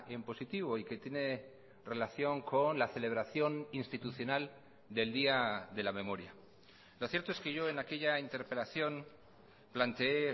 en positivo y que tiene relación con la celebración institucional del día de la memoria lo cierto es que yo en aquella interpelación planteé